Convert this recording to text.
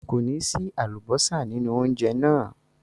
Kò ní sí àlùbọ́sà nínú oúnjẹ náà.